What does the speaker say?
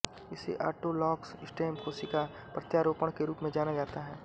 इसे autologous stem कोशिका प्रत्यारोपण के रूप में जाना जाता है